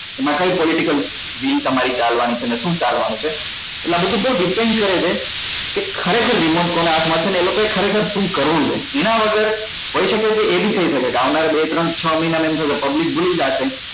એમાં કઈ political deal તમારી ચાલવા ની છે બેસી શુ ચાલવા નું છે એટલે આ બધું બઉ depend કરે છે કે ખરેખર remote કોના હાથ માં છે બેસી એ લોકો એ ખરેખર શુ કરવું છે એના વગર હોઈ શકે કે એ બી થઈ શકે કે આવનારા બે ત્રણ છ મહિના માં એમ થાય કે public ભૂલી જશે